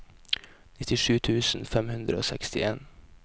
nittisju tusen fem hundre og sekstien